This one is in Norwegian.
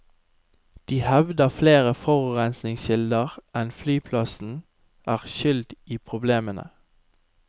De hevder flere forurensningskilder enn flyplassen er skyld i problemene.